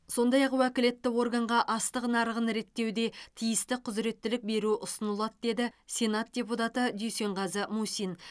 сондай ақ уәкілетті органға астық нарығын реттеуде тиісті құзыреттілік беру ұсынылады деді сенат депутаты дүйсенғазы мусин